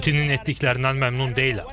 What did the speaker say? Putinin etdiklərindən məmnun deyiləm.